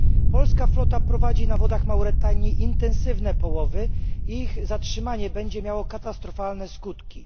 Polska flota prowadzi na wodach Mauretanii intensywne połowy i ich zaprzestanie będzie miało katastrofalne skutki.